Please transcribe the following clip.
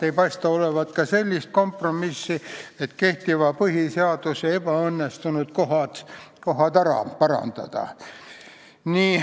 Ei paista olevat ka sellist kompromissi, et kehtiva põhiseaduse ebaõnnestunud kohad tuleks ära parandada.